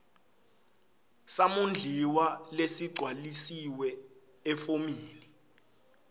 samondliwa lesigcwalisiwe efomini